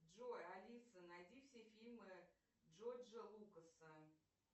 джой алиса найди все фильмы джорджа лукаса